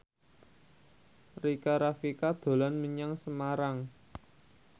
Rika Rafika dolan menyang Semarang